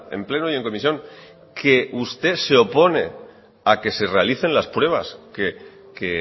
en pleno y en comisión que usted se opone a que se realicen las pruebas que